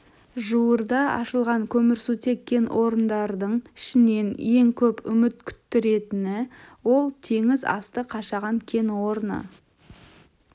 жуырда ашылған көмірсутек кен орындардың ішінен ең көп үміт күттіретіні ол теңіз асты қашаған кен орны